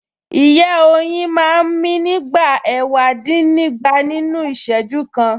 Ìyẹ́ oyin máa ń mí nígbà ẹ̀wàdínnígba nínú Ìṣẹ́jú kan